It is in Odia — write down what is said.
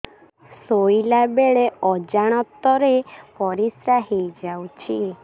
ଶୋଇଲା ବେଳେ ଅଜାଣତ ରେ ପରିସ୍ରା ହେଇଯାଉଛି